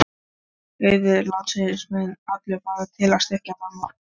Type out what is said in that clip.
Auður landsins mun allur fara til að styrkja Danmörku.